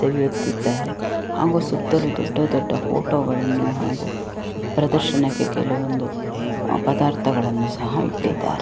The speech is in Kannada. ತೆಗೆಯುತ್ತಿದ್ದಾರೆ ಹಾಗು ಸುತ್ತಲೂ ದೊಡ್ಡ ದೊಡ್ಡ ಫೋಟೋ ಗಳನ್ನು ಹಾಗು ಪ್ರದರ್ಶನಕ್ಕೆ ಕೆಲವೊಂದು ಪದಾರ್ಥಗಳನ್ನು ಸಹ ಇಟ್ಟಿದ್ದಾರೆ .